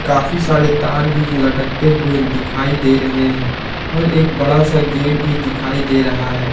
काफी सारे तार भी लटकते हुए दिखाई दे रहे हैं और एक बड़ा सा गेट भी दिखाई दे रहा है।